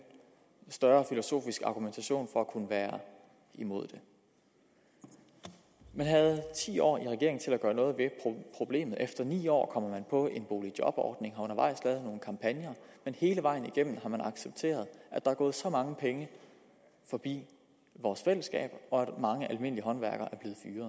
større filosofisk argumentation for at kunne være imod det man havde ti år i regering til at gøre noget ved problemet efter ni år man på en boligjobordning men hele vejen igennem har man accepteret at der er gået så mange penge forbi vores fællesskab og at mange almindelige håndværkere